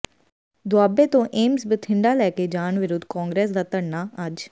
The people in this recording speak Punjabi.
ਦੁਆਬੇ ਤੋਂ ਏਮਸਜ਼ ਬੰਿਠਡਾ ਲੈਕੇ ਜਾਣ ਵਿਰੁੱਧ ਕਾਂਗਰਸ ਦਾ ਧਰਨਾ ਅੱਜ